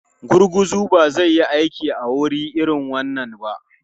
Gurguzu ba zai yi aiki a wuri irin wannan ba.